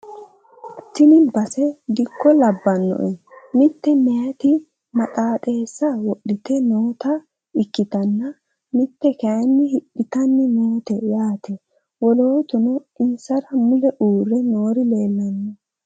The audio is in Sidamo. Tini base dikko labbanoe mitte meyaati maxaxeessa wodhite noota ikkitanna mitte kayii hidhitani noote yaate wolootuno insara mule uurre noori leellanno